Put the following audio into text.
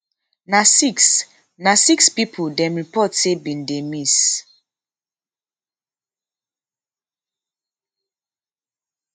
na six na six pipo dem report say bin dey miss